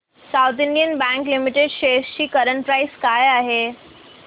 south Indian Bank Limited shares ची current price काय आहे